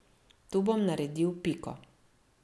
Tu bom naredil piko.